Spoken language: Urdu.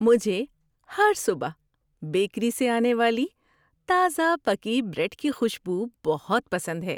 مجھے ہر صبح بیکری سے آنے والی تازہ پکی بریڈ کی خوشبو بہت پسند ہے۔